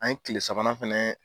An ye tile sabanan fana